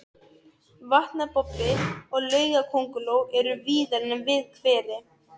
Vatnabobbi og laugakönguló eru víðar en við hveri.